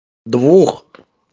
двух